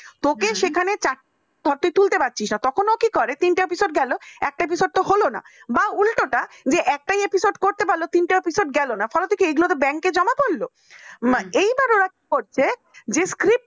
তোকে সেখানে চারতে তুলতে পারছিস না তখন কি করে তিনটা episode গেল চারটা episode তো হলো না বা উল্টোটা একটা episode করতে পারলো তিনটা বছর গেল না bank জমা পরল এবার ওরা কি করছে যে script